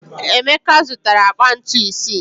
Emeka zụtara akpa ntu isii.